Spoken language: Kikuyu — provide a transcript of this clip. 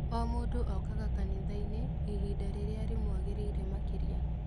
O mũndũ ookaga kanitha-inĩ ihinda rĩrĩa rĩmwagĩrĩire makĩria